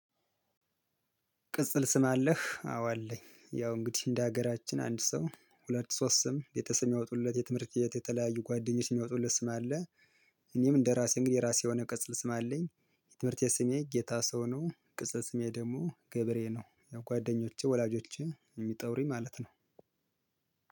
ቅጽል ስም አለህ? አዎ አለኝ። ያው እንግዲህ እንደ ሀገራችን አንድ ሰው ሁለት ሶስት ስም ቤተሰብ የሚያወጡለት የትምህርት የተለያዩ ጓደኞች የሚያወጡለት ስም አለ። እኔም እንደራሴ እንግዲህ የራሴ የሆነ ቅጽል ስም አለኝ። የትምህርት ቤት ስሜ ጌታሰው ነው ቅጽል ስሜ ደግሞ ገብሬ ነው ያው ጓደኞቼ ወላጆቼ የሚጠሩኝ ማለት ነው።